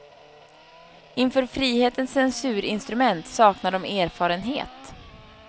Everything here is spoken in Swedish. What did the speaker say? Inför frihetens censurinstrument saknar de erfarenhet.